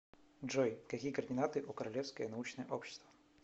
джой какие координаты у королевское научное общество